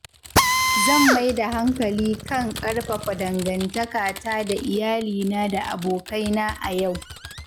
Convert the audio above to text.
Zan mai da hankali kan ƙarfafa dangantakata da iyalina da abokaina a yau.